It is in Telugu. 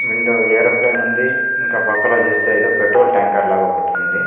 విండో ఏరోప్లేయిన్ ఉంది. ఇన్క పక్కలో చుస్తే ఏదో పెట్రోల్ టాంకర్ లాగ ఒకటుంది.